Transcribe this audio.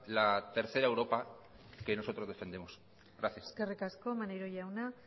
la tercera europa que nosotros defendemos gracias eskerrik asko maneiro jauna